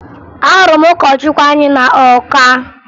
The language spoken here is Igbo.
Ahụrụ m ụkọchukwu anyị na Ọka